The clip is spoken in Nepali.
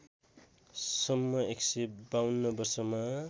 सम्म १५२ वर्षमा